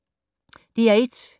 DR1